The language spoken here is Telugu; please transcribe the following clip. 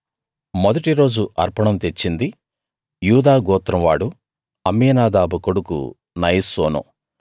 మొదటి రోజు అర్పణం తెచ్చింది యూదా గోత్రం వాడూ అమ్మీనాదాబు కొడుకు నయస్సోను